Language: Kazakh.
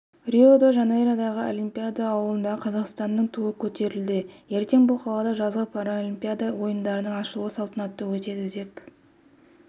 рио-де-жанейродағы олимпиада ауылында қазақстанның туы көтерілді ертең бұл қалада жазғы паралимпиада ойындарының ашылу салтанаты өтеді деп